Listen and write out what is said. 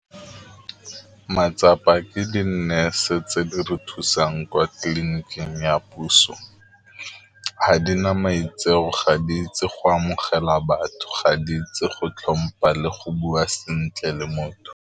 Matsapa ke di-nurse-e tse di re thusang kwa tleliniking ya puso, ga di na maitseo, ga di itse go amogela batho, ga di itse go tlhompha le go bua sentle le motho.